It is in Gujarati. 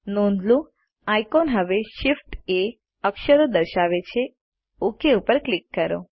નોંધ લો આઇકોન હવે ShiftA અક્ષરો દર્શાવે છે ઓક પર ક્લિક કરો